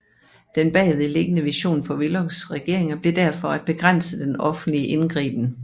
Den bagvedliggende vision for Willochs regeringer blev derfor at begrænse den offentlige indgriben